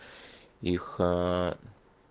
их